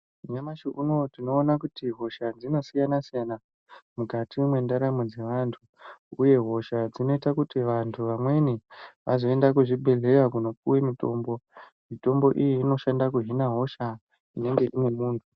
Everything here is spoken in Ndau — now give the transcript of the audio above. Nyamashi unowu kuti hosha dzinosiyana siyana mukati mwendaramo dzevantu uye hosha dzinozoita kuti vamweni vaende kuzvibhedhlera kunopiwe mutombo mutombo iyi inoshanda kuhina hosha.